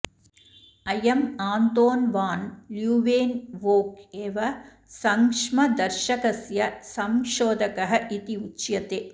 अयम् Anton van Leeuwenhoek एव संक्ष्मदर्शकस्य संशोधकः इति उच्यते